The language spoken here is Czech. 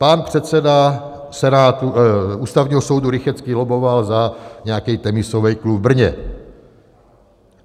Pan předseda Ústavního soudu Rychetský lobboval za nějaký tenisový klub v Brně.